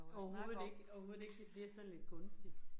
Overhovedet ikke, overhovedet ikke, det bliver sådan lidt kunstigt